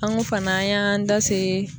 An ko fana an y'an da se